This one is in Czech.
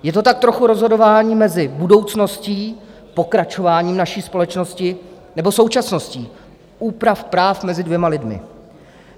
Je to tak trochu rozhodování mezi budoucností, pokračováním naší společnosti, nebo současností, úprav práv mezi dvěma lidmi.